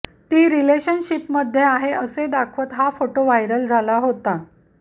ती रिलेशनशिपमध्ये आहे असे दाखवत हा फोटो व्हायरल झाला होता